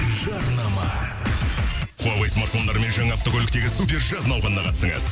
жарнама хуавей смартфондарымен жаңа автокөліктегі супер жаз науқанына қатысыңыз